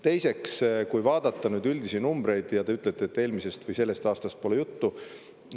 Teiseks, kui vaadata üldisi numbreid, ja te ütlete, et eelmisest või sellest aastast pole juttu.